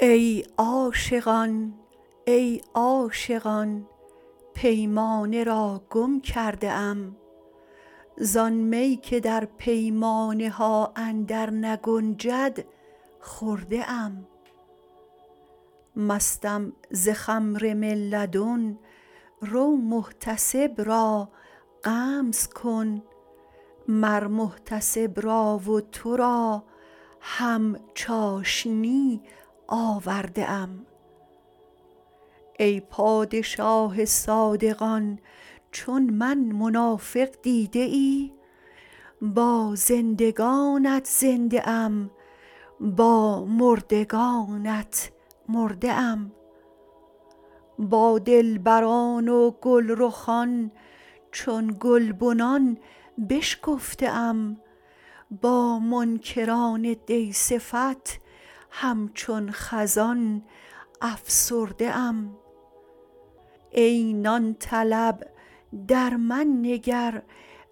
ای عاشقان ای عاشقان پیمانه را گم کرده ام زان می که در پیمانه ها اندرنگنجد خورده ام مستم ز خمر من لدن رو محتسب را غمز کن مر محتسب را و تو را هم چاشنی آورده ام ای پادشاه صادقان چون من منافق دیده ای با زندگانت زنده ام با مردگانت مرده ام با دلبران و گلرخان چون گلبنان بشکفته ام با منکران دی صفت همچون خزان افسرده ام ای نان طلب در من نگر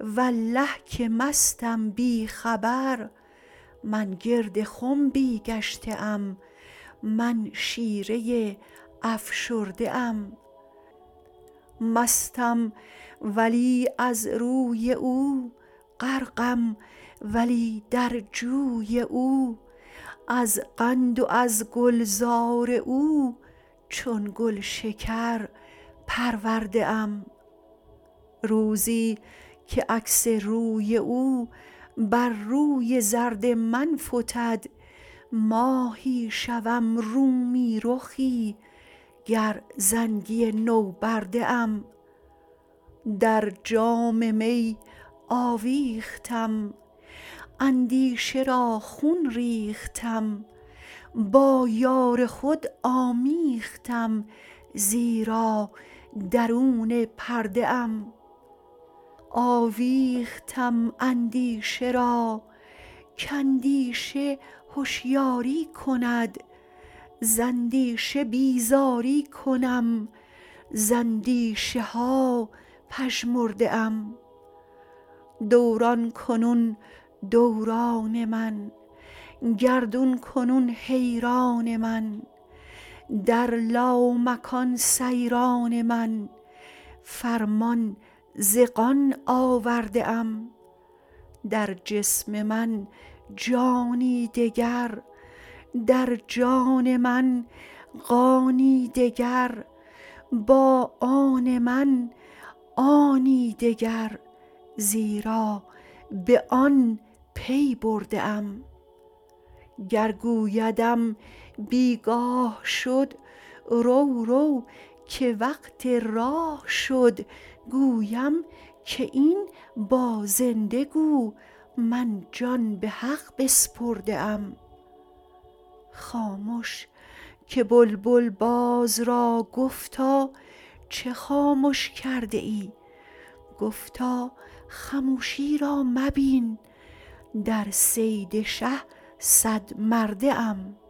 والله که مستم بی خبر من گرد خنبی گشته ام من شیره ای افشرده ام مستم ولی از روی او غرقم ولی در جوی او از قند و از گلزار او چون گلشکر پرورده ام روزی که عکس روی او بر روی زرد من فتد ماهی شوم رومی رخی گر زنگی نوبرده ام در جام می آویختم اندیشه را خون ریختم با یار خود آمیختم زیرا درون پرده ام آویختم اندیشه را کاندیشه هشیاری کند ز اندیشه بیزاری کنم ز اندیشه ها پژمرده ام دوران کنون دوران من گردون کنون حیران من در لامکان سیران من فرمان ز قان آورده ام در جسم من جانی دگر در جان من قانی دگر با آن من آنی دگر زیرا به آن پی برده ام گر گویدم بی گاه شد رو رو که وقت راه شد گویم که این با زنده گو من جان به حق بسپرده ام خامش که بلبل باز را گفتا چه خامش کرده ای گفتا خموشی را مبین در صید شه صدمرده ام